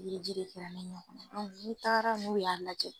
Pikiriji de faralen ɲɔgɔn na aa n'i taara n'ou y'a lajɛ